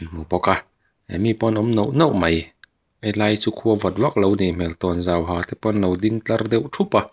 hmu bawk a mi pawn an awm noh noh mai helai chu khua vawt vaklo a nih hmel tawnzau ha te pawh an lo ding tlat deuh thup a.